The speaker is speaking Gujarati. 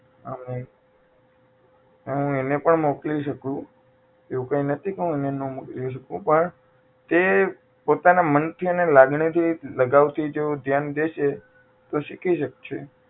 અમે હું એને પણ મોકલી શકું એવું કઈ નહીં કે હું એને ના મોકલી શકું તે પણ પોતાના મન થી એને લાગણી થી લગાવ થી જો ધ્યાન દેશે તો શીખી શકશે